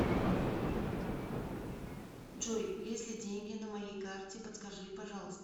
джой есть ли деньги на моей карте подскажи пожалуйста